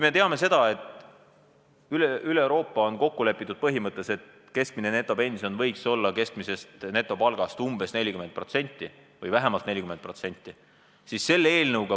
Me teame seda, et üle Euroopa on kokku lepitud põhimõttes, et keskmine netopension võiks olla keskmisest netopalgast umbes 40% või vähemalt 40%.